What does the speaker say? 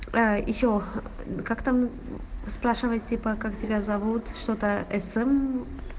а ещё как там спрашивает типа как тебя зовут что-то см